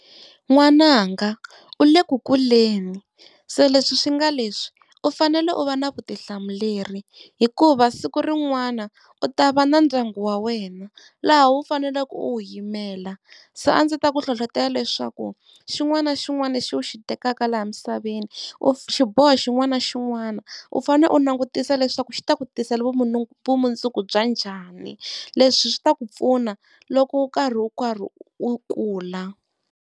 N'wananga u le ku kuleni se leswi swi nga leswi u fanele u va na vutihlamuleri hikuva siku rin'wana u ta va na ndyangu wa wena, laha u faneleke u wu yimela. Se a ndzi ta ku hlohlotela leswaku xin'wana na xin'wana lexi u xi tekaka laha misaveni, xiboho xin'wana na xin'wana u fane u langutisa leswaku xi ta ku tisela vumu vumundzuku bya njhani leswi swi ta ku pfuna loko u karhi u karhi u kula.